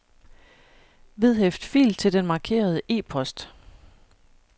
Vedhæft fil til den markerede e-post.